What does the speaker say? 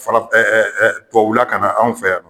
Faraf tubabula kana anw fɛ yan